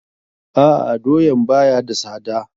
A'a, doyaan ba ya da sada.